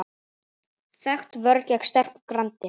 Þekkt vörn gegn sterku grandi.